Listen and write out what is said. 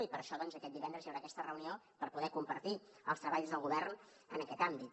i per això aquest divendres hi haurà aquesta reunió per poder compartir els treballs del govern en aquest àmbit